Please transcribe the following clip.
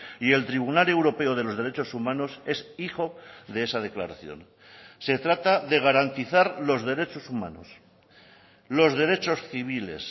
y el tribunal europeo de los derechos humanos es hijo de esa declaración se trata de garantizar los derechos humanos los derechos civiles